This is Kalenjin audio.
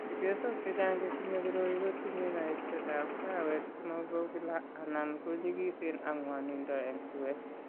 Chepyosok chechang' che tinye koroi ko tinye kaiksetab arawet che mo bo kila anan ko nyikisen ak ng'wanindo eng' suet .